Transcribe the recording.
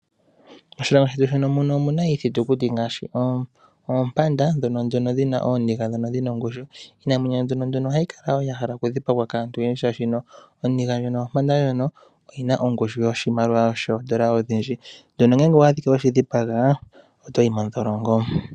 Moshilongo shetu muno, omuna iithitukuti, ngaashi oompanda ndhono dhina ooniga dhina ongushu. Iinamwenyo mbino nduno oha yi kala ya hala oku dhipagwa kaantu oyendji shaashi oninga ndjono yompanda, oyi na ongushu yoshimaliwa shoondola odhindji. Ano ngele owa adhika we shi dhipaga, oto yi mondholongo.